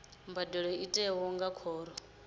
mbadelo i tiwa nga khoro